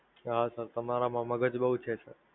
હા Sir, તમારા માં મગજ બઉ છે Sir!